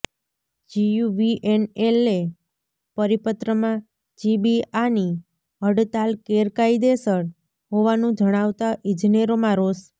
જીયુવીએનએલે પરિપત્રમાં જીબીઆની હડતાલ ગેરકાયદેસર હોવાનું જણાવતા ઇજનેરોમાં રોષ